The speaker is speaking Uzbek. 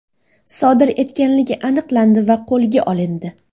sodir etganligi aniqlandi va qo‘lga olindi.